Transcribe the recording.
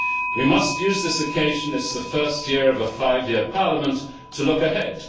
We must use this occasion it is the first year of a five year Parliament to look ahead.